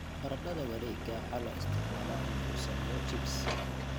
Baradhada wareegga waxaa loo isticmaalaa in lagu sameeyo chips.